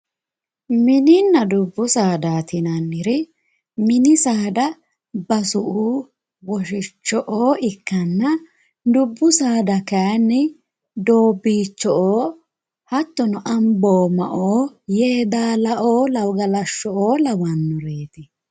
Mininna dubbu saadaati yinanniri mini saada basu"u woshicho'o ikkanna, dubbu saada kayinni doobbicho'o hattono amboomao yeedalao galashsho'o lawannoreeti